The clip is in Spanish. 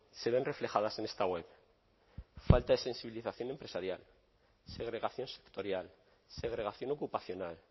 se ven reflejadas en esta web falta de sensibilización empresarial segregación sectorial segregación ocupacional